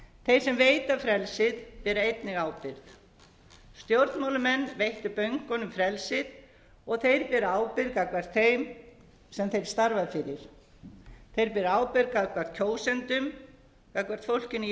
þeir sem veita frelsið bera einnig ábyrgð stjórnmálamenn veittu bönkunum frelsið og þeir bera ábyrgð gagnvart þeim sem þeir starfa fyrir þeir bera ábyrgð gagnvart kjósendum gagnvart fólkinu í